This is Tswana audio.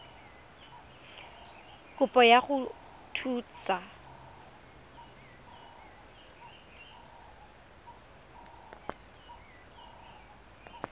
ya kopo go go thusa